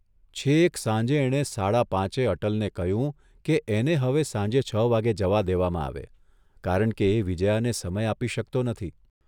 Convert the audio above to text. છેક સાંજે એણે સાડા પાચે અટલને કહ્યું કે એને હવે સાંજે છ વાગ્યે જવા દેવામાં આવે, કારણ કે એ વિજ્યાને સમય આપી શકતો નથી.